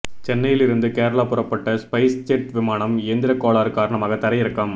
சென்னையில் இருந்து கேரளா புறப்பட்ட ஸ்பைஸ்ஜெட் விமானம் இயந்திரக்கோளாறு காரணமாக தரையிறக்கம்